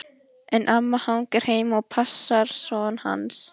En amma hangir heima og passar son hans.